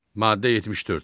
Maddə 74.